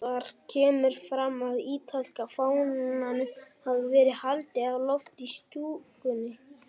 Þar kemur fram að ítalska fánanum hafi verið haldið á lofti í stúkunni.